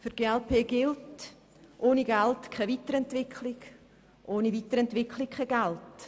Für die glp gilt: ohne Geld keine Weiterentwicklung, ohne Weiterentwicklung kein Geld.